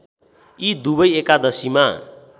यी दुवै एकादशीमा